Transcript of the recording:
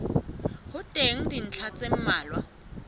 ho teng dintlha tse mmalwa